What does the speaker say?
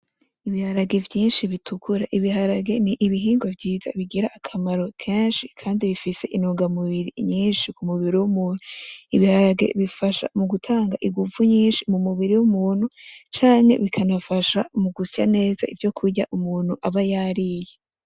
Ibiharage vyinshi bitukura ibiharage nibihingwa vyiza bigira akamaro kenshi kandi bifise intungamubiri nyinshi mu mubiri wumuntu ibiharage bifasha mugutanga inguvu mu mubiri w umuntu canke bigafasha mu gusya neza ivyo umuntu aba yariye